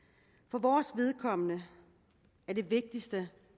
for vores vedkommende er det vigtigste